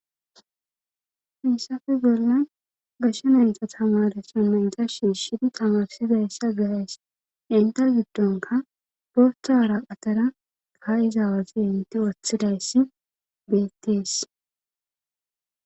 Misafe gerlan gashshe nanta tamaresin menta shiishidi tamarsidayssa gaays inte giddonka borthaara qatara kaa'izawazi inti woththidayssi beettees.